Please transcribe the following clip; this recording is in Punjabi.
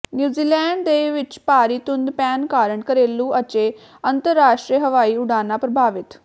ਨਿਊਜ਼ੀਲੈਂਡ ਦੇ ਵਿਚ ਭਾਰੀ ਧੁੰਦ ਪੈਣ ਕਾਰਨ ਘਰੇਲੂ ਅਚੇ ਅੰਤਰਰਾਸ਼ਟਰੀ ਹਵਾਈ ਉਡਾਣਾ ਪ੍ਰਭਾਵਿਤ